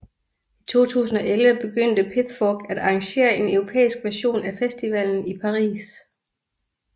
I 2011 begyndte Pithfork at arrangere en europæisk version af festivalen i Paris